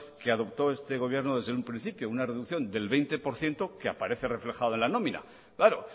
que adoptó este gobierno desde un principio una reducción del veinte por ciento que aparece reflejada en la nómina claro